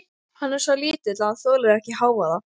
Hann er svo lítill að hann þolir ekki hávaða.